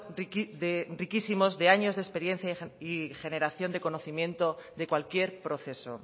de riquísimos de años de experiencia y generación de conocimiento de cualquier proceso